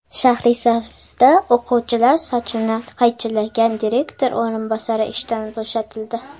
Shahrisabzda o‘quvchilar sochini qaychilagan direktor o‘rinbosari ishdan bo‘shatildi.